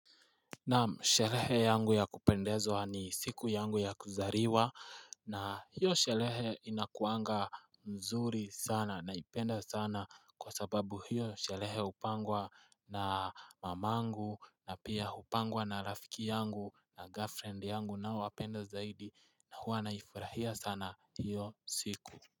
Naam sherehe yangu ya kupendezwa ni siku yangu ya kuzaliwa na hiyo sherehe inakuanga mzuri sana naipenda sana kwa sababu hiyo sherehe hupangwa na mamangu na pia hupangwa na rafiki yangu na girlfriend yangu nawapenda zaidi na huwa naifurahia sana hiyo siku.